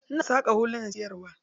Ina saƙa hulunan siyarwa.